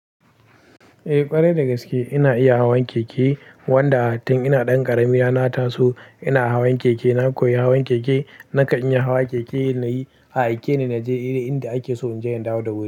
Eh ƙwarai da gaske ina iya hawan keke, wanda tun ina ɗan ƙarami na na taso ina hawan keke. Na koyi hawan keke, nakan iya hawa keke nayi a aike ni naje inda ake so in je in dawo da wuri.